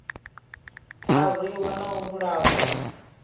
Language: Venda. a rwiwa na u vhulahwa